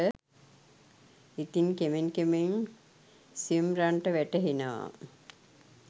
ඉතින් කෙමෙන් කෙමෙන් සිම්රන්ට වැටහෙනවා